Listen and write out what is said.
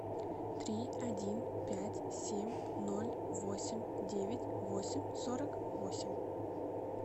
три один пять семь ноль восемь девять восемь сорок восемь